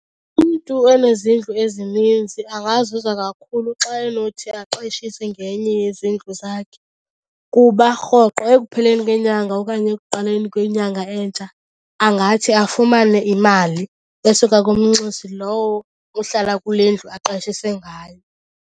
Umntu onezindlu ezininzi angazuza kakhulu xa enothi aqeshise ngenye yezindlu zakhe kuba rhoqo ekupheleni kwenyanga okanye ekuqaleni kwenyanga entsha angathi afumane imali esuka kumnxusi lowo ohlala kule ndlu aqeshise ngayo.